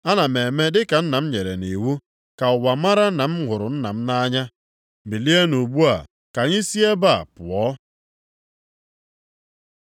Ana m eme dịka Nna m nyere m nʼiwu, ka ụwa mara na m hụrụ Nna m nʼanya. “Bilienụ ugbu a ka anyị si ebe a pụọ.